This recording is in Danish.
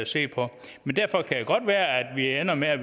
se på men derfor kan det godt være at vi ender med at